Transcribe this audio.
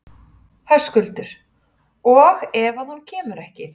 Höskuldur: Og ef að hún kemur ekki?